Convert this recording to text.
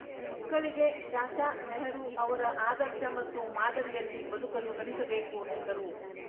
ಮಕ್ಕಳಿಗೆ ಚಾಚಾ ನೆಹರು ಅವರ ಆದರ್ಶ ಮತ್ತು ಮಾದರಿಯಲ್ಲಿ ಬದುಕಲು ಕಲಿಸಬೇಕು ಎಂದರು